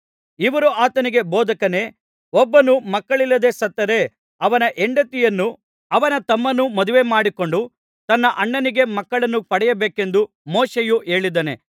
ಇವರು ಆತನಿಗೆ ಬೋಧಕನೇ ಒಬ್ಬನು ಮಕ್ಕಳಿಲ್ಲದೆ ಸತ್ತರೆ ಅವನ ಹೆಂಡತಿಯನ್ನು ಅವನ ತಮ್ಮನು ಮದುವೆಮಾಡಿಕೊಂಡು ತನ್ನ ಅಣ್ಣನಿಗೆ ಮಕ್ಕಳನ್ನು ಪಡೆಯಬೇಕೆಂದು ಮೋಶೆಯು ಹೇಳಿದ್ದಾನೆ